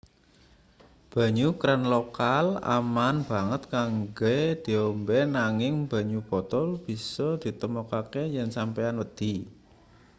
banyu kran lokal aman banget kanggo diombe nanging banyu botol bisa ditemokake yen sampeyan wedi